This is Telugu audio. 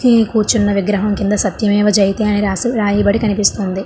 కూర్చున్న విగ్రహం కింద సత్యమేవ జయతే అని రాసి రాయబడి కనిపిస్తుందో.